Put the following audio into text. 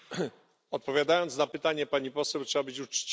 Odpowiadając na pytanie pani poseł, trzeba być uczciwym.